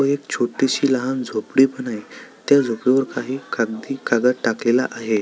व एक छोटीशी लहान झोपडी पण आहे त्या झोपडी वर काही कागदी कागद टाकलेला आहे.